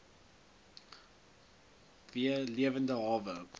v lewende hawe